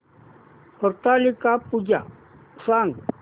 हरतालिका पूजा सांग